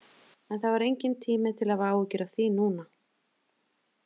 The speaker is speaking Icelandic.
En það var enginn tími til að hafa áhyggjur af því núna.